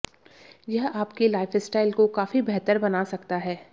यह आपकी लाइफस्टाइल को काफी बेहतर बना सकता है